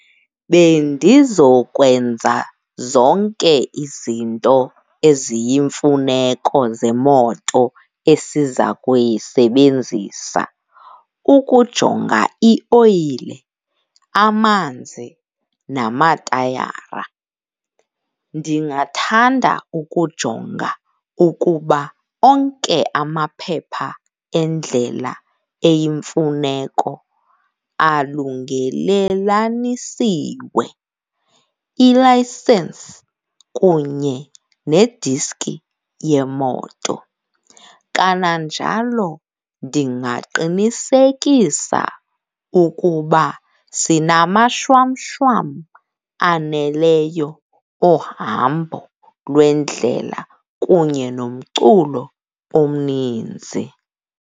Bendizokwenza zonke izinto eziyimfuneko zemoto esiza kuyisebenzisa, ukujonga ioyile, amanzi, namatayara. Ndingathanda ukujonga ukuba onke amaphepha endlela eyimfuneko alungelelanisiwe, ilayisensi kunye nediski yemoto. Kananjalo, ndingaqinisekisa ukuba sinamashwamshwam aneleyo ohambo lwendlele kunye nomculo omninzi.